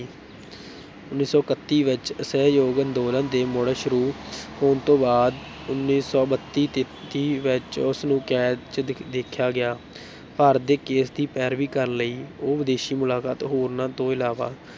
ਉੱਨੀ ਸੌ ਇਕੱਤੀ ਵਿੱਚ ਅਸਹਿਯੋਗ ਅੰਦੋਲਨ ਦੇ ਮੁੜ ਸ਼ੁਰੂ ਹੋਣ ਤੋਂ ਬਾਅਦ ਉੱਨੀ ਸੌ ਬੱਤੀ ਤੇਤੀ ਵਿੱਚ ਉਸ ਨੂੰ ਕੈਦ ਚ ਦੇ ਦੇਖਿਆ ਗਿਆ ਭਾਰਤ ਦੇ ਕੇਸ ਦੀ ਪੈਰਵੀ ਕਰਨ ਲਈ ਉਹ ਵਿਦੇਸ਼ੀ ਮੁਲਾਕਾਤ, ਹੋਰਨਾਂ ਤੋਂ ਇਲਾਵਾ